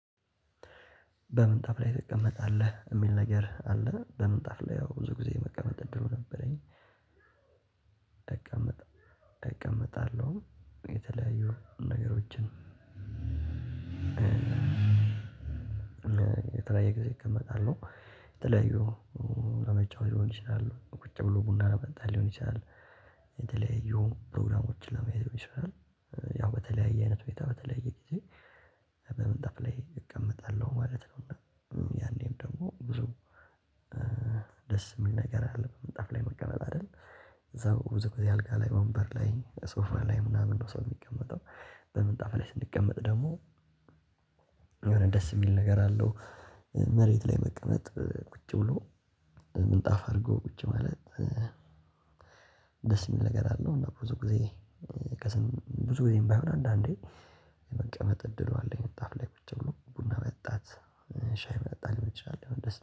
በምንጣፍ ላይ ትቀመጣለህ የሚል ነገር አለ በምንጣፍ ላይ ያው ብዙ ጊዜ የመቀመጥ እድሉ ነበረኝ። እቀመጣለው። የተለያዩ ነገሮችን። የተለያየ ጊዜ እቀመጣለው የተለያዩ ለመጫወት ሊሆን ይችላል ቁጭ ብሎ ቡና ለመጣል ሊሆን ይችላል። የተለያዩ ፕሮግራሞችን ለማየት ሊሆን ይሻላል። ያው በተለያየ አይነት ሁኔታ በተለያየ ጊዜ በመንጣፍ ላይ እቀመጣለሁ ማለት ነው። እና ያኔም ደግሞ ብዙ ደስ የሚል ነገር አለው። ምንጣፍ ላይ መቀመጥ አይደል? እዛው ብዙ ጊዜ አልጋ ላይ ወንበር ላይ ሶፋ ላይ ምናምን ነው ሰው የሚቀመጠው። በምንጣፍ ላይ ስንቀመጥ ደግሞ የሆነ ደስ የሚል ነገር አለው። መሬት ላይ መቀመጥ ቁጭ ብሎ ምንጣፍ አድርጎ ቁጭ ማለት ደስ የሚል ነገር አለው። እና ብዙ ጊዜ ብዙ ጊዜም ባይሆን አንዳንዴ መቀጠጥ እድሉ አለኝ። ምንጣፍ ላይ ቁጭ ብሎ ቡና መጠጣት ሻይ መጠጣት ሊሆን ይችላል።